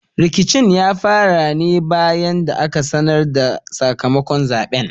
Rikicin ya fara ne bayan da aka sanar da sakamakon zaɓen.